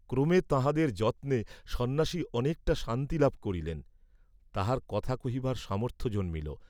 ক্রমে তাঁহাদের যত্নে সন্ন্যাসী অনেকটা শান্তিলাভ করিলেন, তাঁহার কথা কহিবার সামর্থ্য জন্মিল।